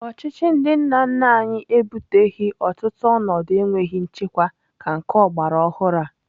Ọchịchị ndị nna nna anyị ebuteghị ọtụtụ ọnọdụ enweghị nchekwa ka nke ọgbaraọhụrụ a.